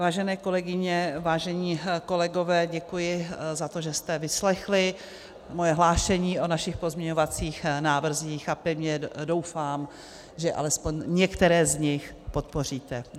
Vážené kolegyně, vážení kolegové, děkuji za to, že jste vyslechli moje hlášení o našich pozměňovacích návrzích, a pevně doufám, že alespoň některé z nich podpoříte.